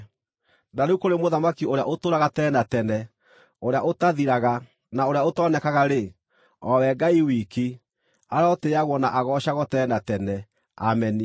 Na rĩu, kũrĩ Mũthamaki ũrĩa ũtũũraga tene na tene, ũrĩa ũtathiraga, na ũrĩa ũtonekaga-rĩ, o we Ngai wiki, arotĩĩagwo na agoocagwo tene na tene. Ameni.